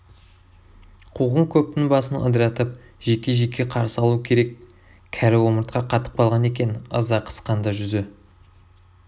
қуғын көптің басын ыдыратып жеке-жеке қарсы алу керек кәрі омыртқа қатып қалған екен ыза қысқанда жүзі